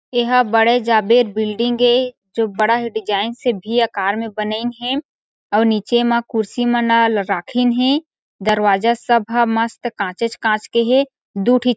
एहा बड़े जाबेर बिल्डिंग ए जो बड़ा ही डिज़ाइन से भी आकर म बनइन हे अऊ निचे म कुर्सी मन ल राखिन हे दरवाजा सब ह मस्त काचेच काच के हे दु ठीक--